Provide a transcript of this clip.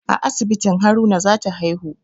A asibitin Haruna za ta haihu